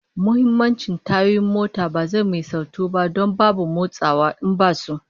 Muhimmancin tayoyin mota ba zai misaltu ba, don babu motsawa in basu